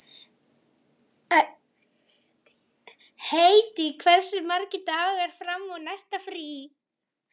Hedí, hversu margir dagar fram að næsta fríi?